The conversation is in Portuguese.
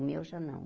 O meu já não.